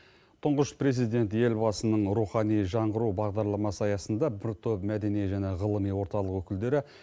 тұңғыш президент елбасының рухани жаңғыру бағдарламасы аясында бір топ мәдени және ғылыми орталық өкілдері